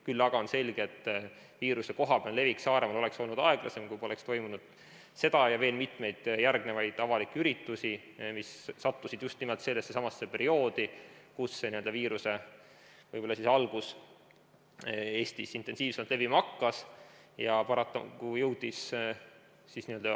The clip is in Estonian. Küll aga on selge, et viiruse kohapealne levik Saaremaal oleks olnud aeglasem, kui poleks toimunud seda üritust ja veel mitmeid avalikke üritusi, mis sattusid just nimelt sellesse samasse perioodi, kui see viirus võib-olla siis Eestis intensiivsemalt levima hakkas.